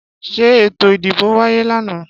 Ṣé eto ìdìbò wáyé lànà?